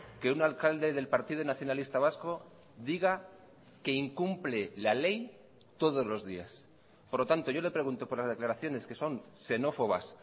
que un alcalde del partido nacionalista vasco diga que incumple la ley todos los días por lo tanto yo le pregunto por las declaraciones que son xenófobas